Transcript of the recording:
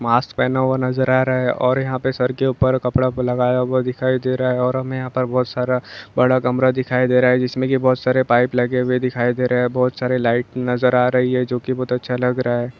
Mask पहना हुवा नज़र आ रहा है और यहाँ पे सर के ऊपर कपड़ा लगाया हुवा दिखाई दे रहा हैऔर हमे यहाँ पर हमे बहुत सारा बड़ा कमरा दिखाई दे रहा है जिसमें की बहुत सारे पाइप लगे हुवे दिखाई दे रहे है बहुत सारे लाइट नज़र आ रही है जो की बहुत अच्छ लग रहा है।